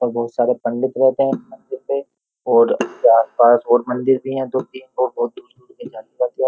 और बहुत सारे पंडित रहते हैं मंदिर पे और आसपास और मंदिर भी है दो तीन और बहुत --